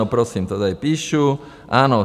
No, prosím, to tady píšu, ano.